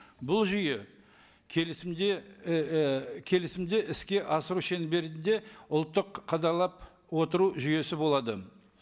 бұл жүйе келісімде ііі келісімді іске асыру шеңберінде ұлттық қадағалап отыру жүйесі болады